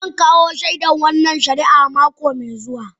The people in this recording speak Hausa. Zan kawo shaida kan wannan shari'a mako mai zuwa